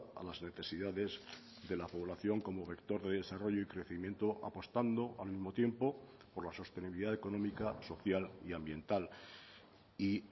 a las necesidades de la población como vector de desarrollo y crecimiento apostando al mismo tiempo por la sostenibilidad económica social y ambiental y